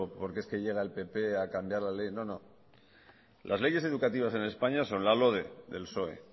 porque es que llega el pp a cambiar la ley no no las leyes educativas en españa son la lode del psoe